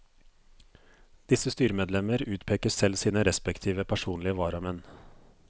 Disse styremedlemmer utpeker selv sine respektive personlige varamenn.